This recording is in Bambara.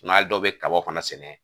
N'a dɔw bɛ kaba fana sɛnɛ